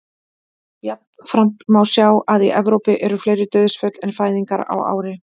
Jafnframt má sjá að í Evrópu eru fleiri dauðsföll en fæðingar á ári.